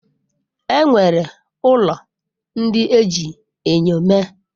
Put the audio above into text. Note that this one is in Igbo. E nwere ụlọ ndị e ji enyo mee.